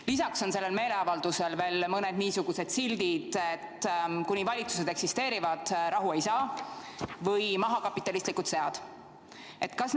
Lisaks on sellel meeleavaldusel veel mõned niisugused sildid nagu "Kuni valitsused eksisteerivad, rahu ei saa" või "Maha kapitalistlikud sead!".